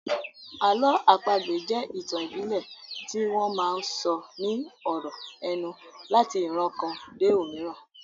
Àlọ́ àpagbè jẹ́ ìtàn ìbílẹ̀ tí wọ́n máa sọ ní ọ̀rọ̀ ẹnu láti ìran kan dé òmíràn